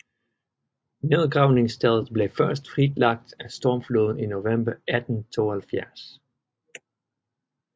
Nedgravningsstedet blev først fritlagt af stormfloden i november 1872